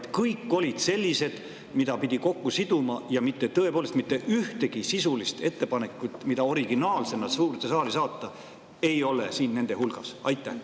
Kas kõik olid sellised, mida pidi kokku siduma, nii et tõepoolest mitte ühtegi sisulist ettepanekut, mida originaalsena suurde saali saata, ei ole siin nende hulgas?